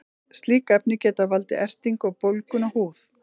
slík efni geta valdið ertingu og bólgum á húð